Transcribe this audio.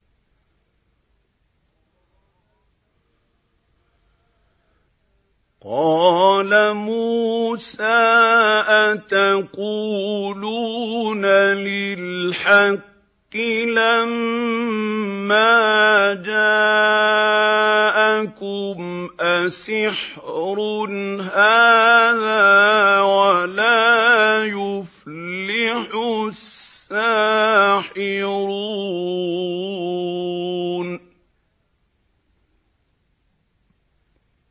قَالَ مُوسَىٰ أَتَقُولُونَ لِلْحَقِّ لَمَّا جَاءَكُمْ ۖ أَسِحْرٌ هَٰذَا وَلَا يُفْلِحُ السَّاحِرُونَ